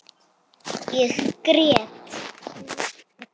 Ég grét.